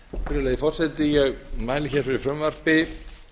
virðulegi forseti ég mæli fyrir frumvarpi